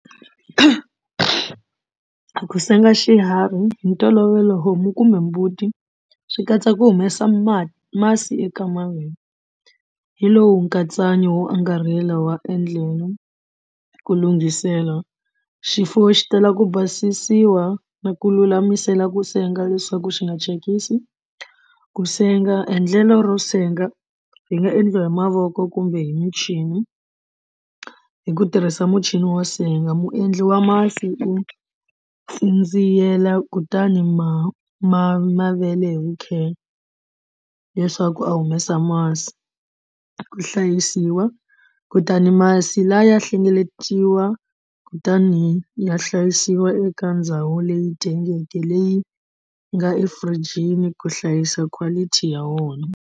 Ku senga xiharhi hi ntolovelo homu kumbe mbuti swi katsa ku humesa ma masi eka mavele hi lowu nkatsakanyo wo angarhela wa endlela ku lunghisela xifuwo xi tala ku basisiwa na ku lulamisela ku senga leswaku xi nga thyakisi. Ku senga endlela ro senga ri nga endliwa hi mavoko kumbe hi michini hi ku tirhisa muchini wo senga muendli wa masi u tsindziyela kutani ma ma mavele vukheta leswaku a humesa masi ku hlayisiwa kutani masi lawa ya hlengeletiwa kutani ya hlayisiwa eka ndhawu leyi tengeke leyi nga efurijini ku hlayisa quality ya wona.